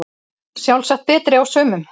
Sjálfsagt betri á sumum